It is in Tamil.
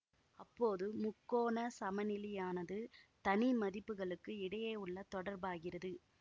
அப்போது முக்கோணச் சமனிலியானது தனி மதிப்புகளுக்கு இடையேயுள்ள தொடர்பாகிறது